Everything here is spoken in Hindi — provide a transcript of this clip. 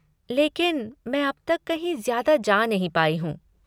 लेकिन मैं अब तक कहीं ज्यादा जा नहीं पाई हूँ।